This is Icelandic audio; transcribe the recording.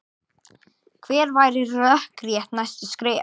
Hver væru rökrétt næstu skref?